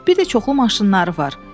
Bir də çoxlu maşınları var.